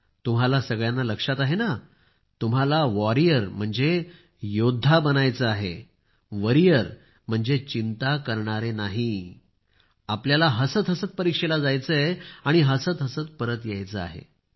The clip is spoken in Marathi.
तुम्हाला सगळ्यांना लक्षात आहे ना तुम्हाला योद्धा बनायचे आहे चिंता करणारे नाही आपल्याला हसत हसत परीक्षेला जायचे आहे आणि हसत परत यायचे आहे